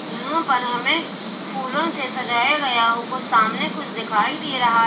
यहां पर हमें फूलों से सजाया गया हमको सामने कुछ दिखाई दे रहा--